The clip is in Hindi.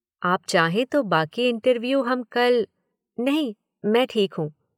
आप चाहें तो बाकी इंटरव्यू हम कल। नहीं, मैं ठीक हूँ।